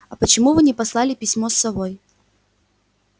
а почему вы не послали письмо с совой